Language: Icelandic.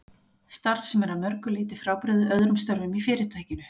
Starf sem er að mörgu leyti frábrugðið öðrum störfum í Fyrirtækinu.